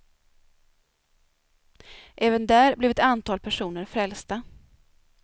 Även där blev ett antal personer frälsta.